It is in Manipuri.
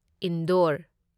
ꯏꯟꯗꯣꯔ